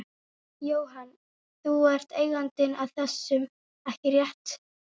Jóhann: Þú ert eigandinn að þessum, ekki rétt?